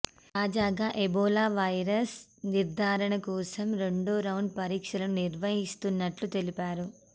తాజాగా Ebola virus నిర్ధారణ కోసం రెండో రౌండ్ పరీక్షలు నిర్వహిస్తున్నట్లు తెలిపారు